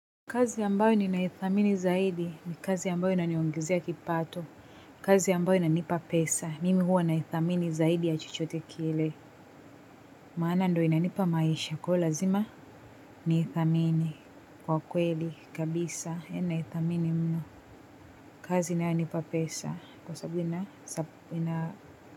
Kazi ambayo ninaithamini zaidi ni kazi ambayo inaniongezea kipato. Kazi ambayo inanipa pesa. Mimi huwa naithamini zaidi ya chochote kile. Maana ndo inanipa maisha kwa lazima ni ithamini. Kwa kweli, kabisa, naithamini mno. Kazi inayonipa pesa. Kwa sababu ina.